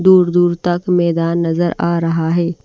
दूर-दूर तक मैदान नजर आ रहा है।